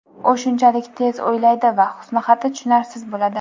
u shunchalik tez o‘ylaydi va husnixati tushunarsiz bo‘ladi.